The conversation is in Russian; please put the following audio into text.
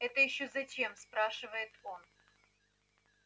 это ещё зачем спрашивает он